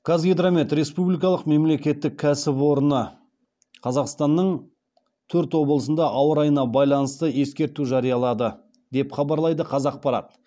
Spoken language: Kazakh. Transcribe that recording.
қазгидромет республикалық мемлекеттік кәсіпорны қазақстанның төрт облысында ауа райына байланысты ескерту жариялады деп хабарлайды қазақпарат